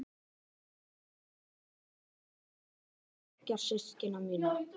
Framan af féll ég líka vel inn í hóp bekkjarsystkina minna.